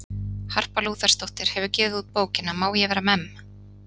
Harpa Lúthersdóttir hefur gefið út bókina Má ég vera memm?